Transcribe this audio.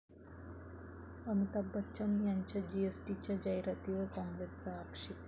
अमिताभ बच्चन यांच्या जीएसटीच्या जाहिरातीवर काँग्रेसचा आक्षेप